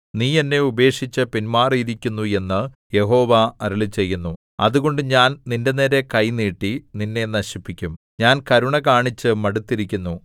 നീ എന്നെ ഉപേക്ഷിച്ചു പിൻമാറിയിരിക്കുന്നു എന്ന് യഹോവ അരുളിച്ചെയ്യുന്നു അതുകൊണ്ട് ഞാൻ നിന്റെനേരെ കൈ നീട്ടി നിന്നെ നശിപ്പിക്കും ഞാൻ കരുണ കാണിച്ച് മടുത്തിരിക്കുന്നു